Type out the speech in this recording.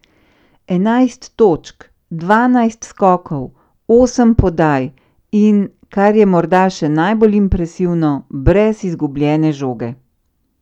Enajst točk, dvanajst skokov, osem podaj in, kar je morda še najbolj impresivno, brez izgubljene žoge.